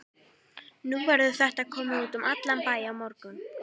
Nú verður þetta komið út um allan bæ á morgun.